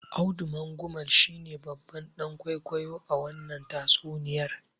Audu Mangumal shine babban dan kwaikwayo a wannan tatsuniyar.